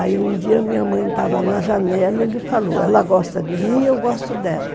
Aí um dia minha mãe estava na janela e ele falou, ela gosta de mim e eu gosto dela.